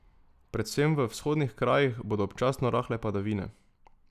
Predvsem v vzhodnih krajih bodo občasno rahle padavine.